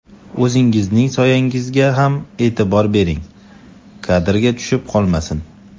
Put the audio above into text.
O‘zingizning soyangizga ham e’tibor bering, kadrga tushib qolmasin.